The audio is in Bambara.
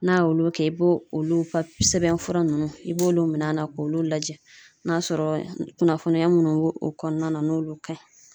N'a y'olu kɛ i b'o olu ka sɛbɛn fura ninnu i b'olu minɛ a na k'olu lajɛ n'a sɔrɔ kunnafoniya minnu b'o o kɔnɔna na n'olu ka ɲi